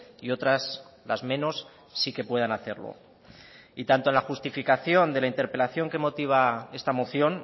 y otras las menos sí que puedan hacerlo y tanto la justificación de la interpelación que motiva esta moción